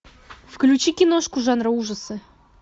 включи киношку жанра ужасы